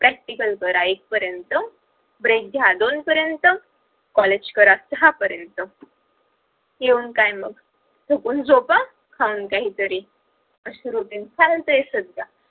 practical करा एक पर्यंत break घ्या दोन पर्यंत college करा सहा पर्यायंत येऊन काय मग चुकून झोपा खाऊन काहीतरी अशी routine चालते सध्या